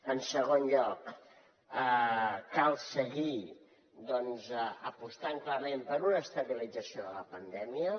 en segon lloc cal seguir doncs apostant clarament per una estabilització de la pandèmia